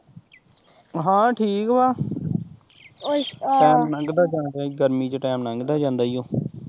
ਹਾਂ ਠੀਕ ਵਾਂ ਟੈਮ ਲੰਘਦਾ ਜਾਣ ਡਯਾ ਗਰਮੀ ਚ ਟੈਮ ਲੰਘਦਾ ਜਾਂਦਾ ਈ ਓ